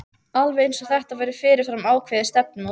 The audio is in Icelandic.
Alveg eins og þetta væri fyrirfram ákveðið stefnumót.